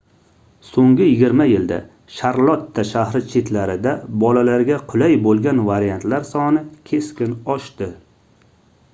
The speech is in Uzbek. soʻnggi 20 yilda sharlotta shahri chetlarida bolalarga qulay boʻlgan variantlar soni keskin oshdi